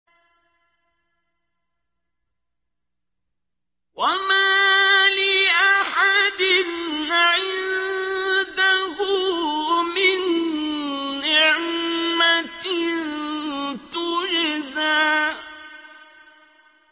وَمَا لِأَحَدٍ عِندَهُ مِن نِّعْمَةٍ تُجْزَىٰ